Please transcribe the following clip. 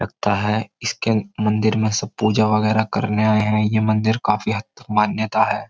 लगता है इसके मंदिर में सब पूजा वगैरह करने आए हैं यह मंदिर काफी हद तक मान्यता है।